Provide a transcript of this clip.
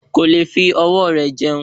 Ko leè fi ọwọ́ rẹ̀ jẹun